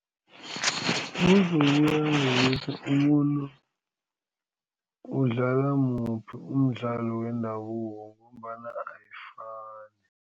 Umvumo uyangokuthi umuntu udlala muphi umdlalo wendabuko ngombana ayifani.